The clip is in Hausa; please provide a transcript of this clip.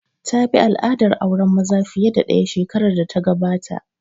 Ta bi al'adar auren maza fiye da ɗaya shekarar da ta gabata